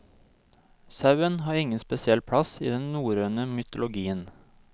Sauen har ingen spesiell plass i den norrøne mytologien.